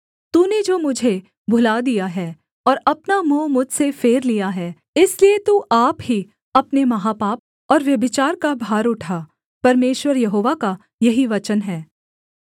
तूने जो मुझे भुला दिया है और अपना मुँह मुझसे फेर लिया है इसलिए तू आप ही अपने महापाप और व्यभिचार का भार उठा परमेश्वर यहोवा का यही वचन है